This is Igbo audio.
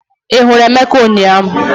Ị hụrụ Emeka ụnyahụ?